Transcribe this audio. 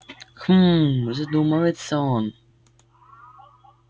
хмм задумывается он